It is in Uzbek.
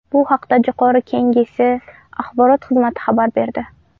Bu haqda Jo‘qorg‘i Kengesi axborot xizmati xabar berdi .